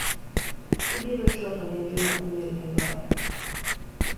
Ibiro chwalo ne Juma imel e loya.